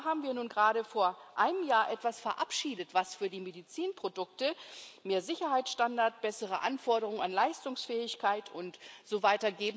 Und da haben wir nun gerade vor einem Jahr etwas verabschiedet, was für die Medizinprodukte mehr Sicherheitsstandard, bessere Anforderungen an Leistungsfähigkeit usw.